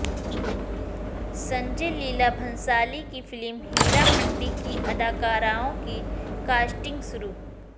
سنجے لیلا بھنسالی کی film Heeramandi کی اداکارائوں کی کاسٹنگ شروع